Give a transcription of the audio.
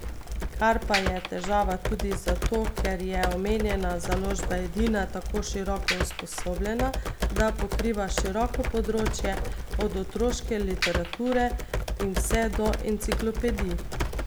Kar pa je težava tudi zato, ker je omenjena založba edina tako široko usposobljena, da pokriva široko področje od otroške literature in vse do enciklopedij.